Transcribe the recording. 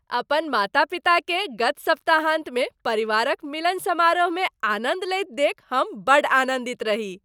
अपन माता पिताकेँ गत सप्ताहान्तमे परिवारक मिलन समारोहमे आनन्द लैत देखि हम बड़ आनन्दित रही।